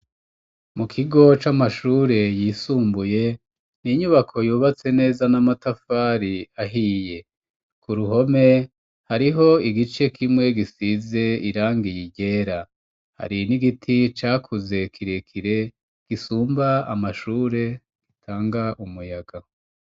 Mu kigo c'amashure yisumbuye ni inyubako yubatse neza n'amatafari ahiye. Ku ruhome hariho igice kimwe gisize irangi ryera. Hari n'igiti cakuze kirekire gisumba amashure, gitanga umuyaga.